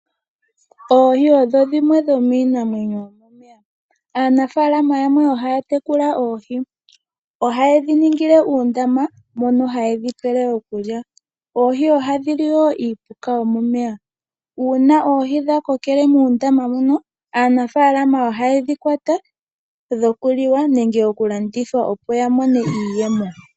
Oohi odho dhimwe dhomiinamwenyo yomomeya. Aanafalama yamwe oha ya tekula oohi. Oha ye dhi ningile uundama mono hayi dhi pele okulya. Oohi wo oha dhi li iipuka yomomeya. Una oohi dha kokele muundama mono, aanafalama oha ye dhi kwata dhokuliwa nenge okulandithwa opo ya mone iiyemo.